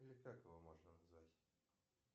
или как его можно назвать